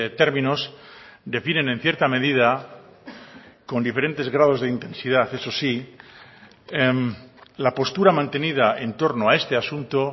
términos definen en cierta medida con diferentes grados de intensidad eso sí la postura mantenida en torno a este asunto